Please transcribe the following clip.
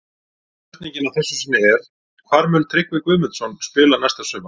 Spurningin að þessu sinni er: Hvar mun Tryggvi Guðmundsson spila næsta sumar?